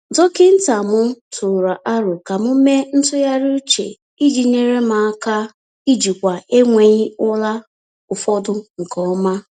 Dọkịta m tụụrụ aro ka m mee ntụgharị uche iji nyere m aka ijikwa enweghị ụra ụfọdụ nke ọma.